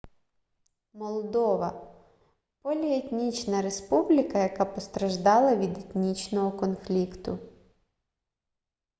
молдова поліетнічна республіка яка постраждала від етнічного конфлікту